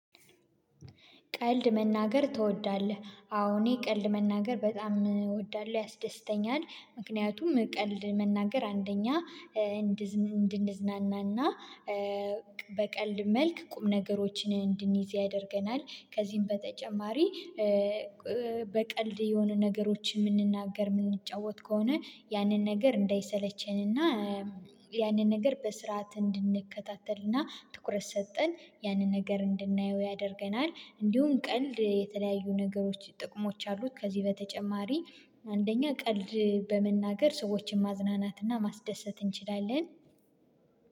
ቀልድ መናገር ትወዳለህ? አዎ እኔ ቀልድ መናገር በጣም እወዳለሁ ያስደስተኛል ምክንያቱም ቀልድ መናገር አንደኛ እንድንዝናናና በቀልድ መልክ ቁም ነገሮችን እንድንይዝ ያደርገናል። ከዚህም በተጨማሪ በቀልድ የሆኑ ነገሮችን የምንናገር የምንጫወት ከሆነ ያንን ነገር እንዳይሰለቸንና ያንን ነገር በስርዓት እንድንከታተልና ትኩረት ሰጥተን ያንን ነገር እንድናየው ያደርገናል። እንዲሁም ቀልድ የተለያዩ ነገሮች ጥቅሞች አሉት። ከዚህ በተጨማሪ አንደኛ ቀልድ በመናገር ሰዎችን ማዝናናትና ማስደሰት እንችላለን።